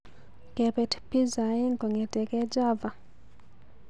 Kebet pizza aeng kong'eteke Java.